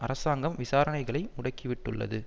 அரசாங்கம் விசாரணைகளை முடக்கிவிட்டுள்ளது